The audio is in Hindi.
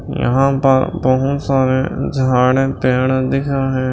यहां पर बहुत सारे जाड़े पेड दिख रहे --